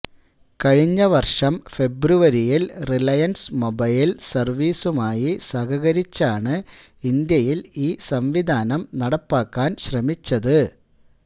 കഴിഞ്ഞ വര്ഷം ഫെബ്രുവരിയില് റിലയന്സ് മൊബൈല് സര്വീസുമായി സഹകരിച്ചാണ് ഇന്ത്യയില് ഈ സംവിധാനം നടപ്പാക്കാന് ശ്രമിച്ചത്